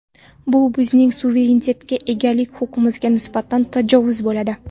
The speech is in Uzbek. Bu bizning suverenitetga egalik huquqimizga nisbatan tajovuz bo‘ladi.